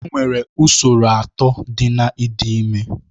Enwere usoro atọ dị na ịdị ime